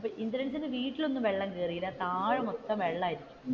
ഇന്ദ്രൻസിന്റെ വീട്ടിൽ ഒന്നും വെള്ളം കേറിയില്ല താഴെ മൊത്തവും വെള്ളമായിരുന്നു.